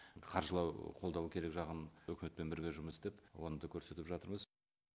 қаржылау қолдау керек жағын өкіметпен бірге жұмыс істеп оны да көрсетіп жатырмыз